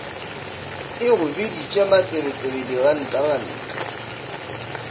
e go biditše matsebetsebe dirantaranta